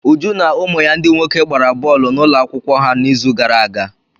Uju na ụmụ ya ndị nwoke gbara bọọlụ n'ụlọ akwụkwọ ha n'izu gara aga.